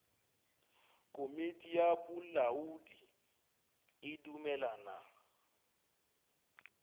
komiti ya bolamodi e dumelelana